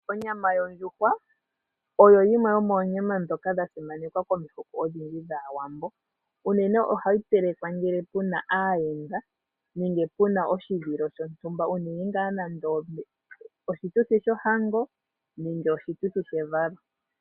Onyama yondjuhwa oyo yimwe yomoonyama ndhoka dha simanekwa komihoko odhindji dhAawambo. Unene ohayi telekwa ngele pu na aayenda nenge pu na oshituthi shontumba ngaashi shohango nenge shevalo.